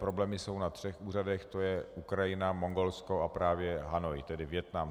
Problémy jsou na třech úřadech, to je Ukrajina, Mongolsko a právě Hanoj, tedy Vietnam.